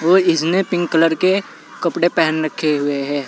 ओ इसने pink colour के कपड़े पहन रखे हुए है।